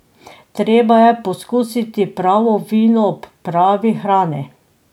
Treba je pokusiti pravo vino ob pravi hrani.